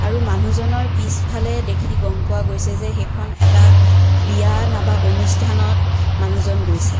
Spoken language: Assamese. আৰু মানুহজনৰ পিছফালে দেখি গম পোৱা গৈছে যে সেইখন এটা বিয়া নাইবা অনুষ্ঠানত মানুহজন গৈছে।